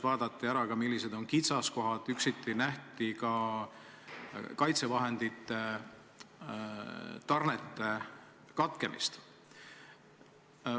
Vaadati, millised on kitsaskohad, ja nähti ette ka kaitsevahendite tarnete katkemist.